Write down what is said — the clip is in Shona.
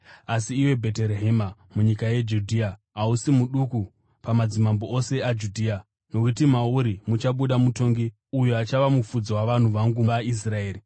“Asi iwe Bheterehema, munyika yeJudhea hausi muduku pamadzimambo ose aJudha, nokuti mauri muchabuda mutongi uyo achava mufudzi wavanhu vangu vaIsraeri.”